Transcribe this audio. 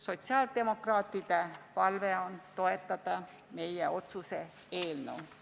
Sotsiaaldemokraatide palve on toetada meie otsuse eelnõu.